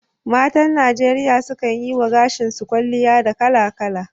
Matan Najeriya sukan yi wa gashi su kwalliya da kala-kala